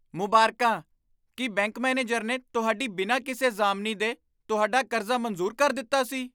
ਮੁਬਾਰਕਾਂ! ਕੀ bank manager ਨੇ ਤੁਹਾਡੀ ਬਿਨਾਂ ਕਿਸੇ ਜ਼ਾਮਨੀ ਦੇ ਤੁਹਾਡਾ ਕਰਜ਼ਾ ਮਨਜ਼ੂਰ ਕਰ ਦਿੱਤਾ ਸੀ?